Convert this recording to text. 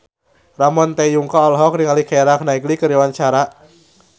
Ramon T. Yungka olohok ningali Keira Knightley keur diwawancara